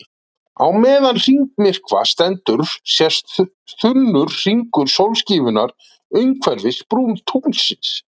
Á meðan hringmyrkva stendur sést þunnur hringur sólskífunnar umhverfis brún tunglsins.